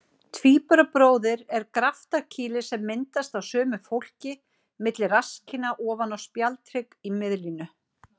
Tvíburabróðir er graftarkýli sem myndast á sumu fólki milli rasskinna ofan á spjaldhrygg í miðlínu.